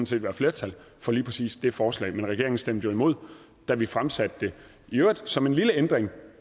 set være flertal for lige præcis det forslag men regeringen stemte jo imod da vi fremsatte det i øvrigt som en lille ændring